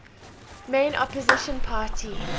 main opposition party